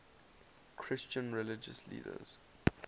christian religious leaders